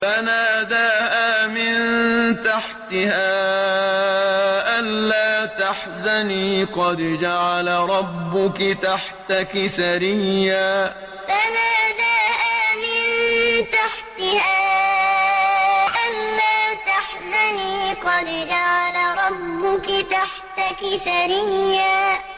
فَنَادَاهَا مِن تَحْتِهَا أَلَّا تَحْزَنِي قَدْ جَعَلَ رَبُّكِ تَحْتَكِ سَرِيًّا فَنَادَاهَا مِن تَحْتِهَا أَلَّا تَحْزَنِي قَدْ جَعَلَ رَبُّكِ تَحْتَكِ سَرِيًّا